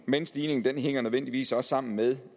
men stigningen hænger nødvendigvis også sammen med